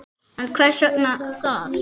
En hvers vegna það?